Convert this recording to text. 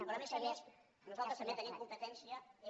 però a més a més nosaltres també tenim competència en